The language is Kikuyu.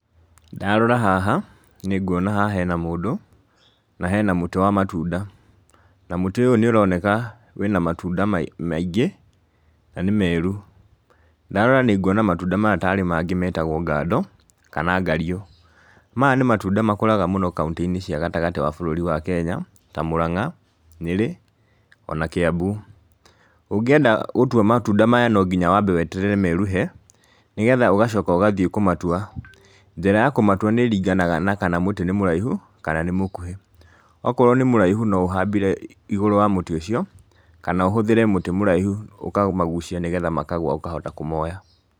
Ndarora haha, nĩ nguona haha hena mũndũ, na hena mũtĩ wa matunda, na mũtĩ ũyũ nĩ ũroneka wĩna matunda mai maingĩ na nĩ meru, ndarora nĩ nguona matunda maya tarĩ mangĩ metagwo ngando kana ngariũ, maya nĩ matunda makũraga mũno kauntĩ-inĩ cia gatagatĩ ga bũrũri wa Kenya ta Mũrang'a, Nyeri, ona Kiambu. Ũngĩenda gũtua matunda maya no nginya wambe weterere meruhe, nĩgetha ũgacoka ũgathiĩ kũmatua. Njĩra ya kũmatua nĩ ĩringanaga kana mũtĩ nĩ mũraihu, kana mũkuhĩ, okorwo nĩ mũraihu no ũhambire igũrũ wa mũtĩ ũcio, kana ũhũthĩre mũtĩ mũraihu ũkamagucia nĩgetha makagũa ũkahota kũmoya.